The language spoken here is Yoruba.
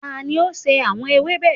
Tani o ṣe awọn ewébe?